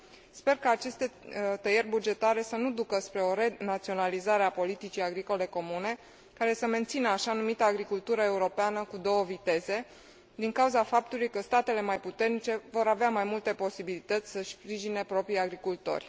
Sper ca aceste tăieri bugetare să nu ducă spre o renaționalizare a politicii agricole comune care să mențină așa numita agricultură europeană cu două viteze, din cauza faptului că statele mai puternice vor avea mai multe posibilități să își sprijine propriii agricultori.